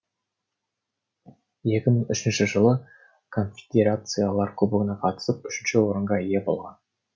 екі мың үшінші жылы конфедерациялар кубогына қатысып үшінші орынға ие болған